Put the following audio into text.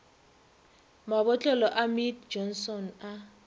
mabotlelo a mead johnson a